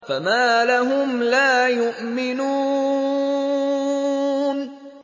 فَمَا لَهُمْ لَا يُؤْمِنُونَ